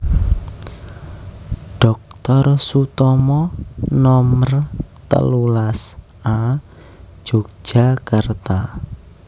Doktor Sutomo Nomer telulas A Yogyakarta